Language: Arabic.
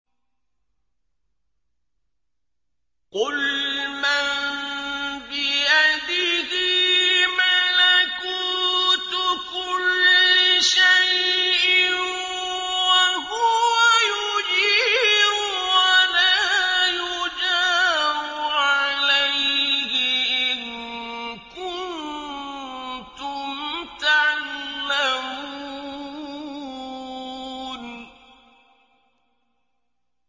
قُلْ مَن بِيَدِهِ مَلَكُوتُ كُلِّ شَيْءٍ وَهُوَ يُجِيرُ وَلَا يُجَارُ عَلَيْهِ إِن كُنتُمْ تَعْلَمُونَ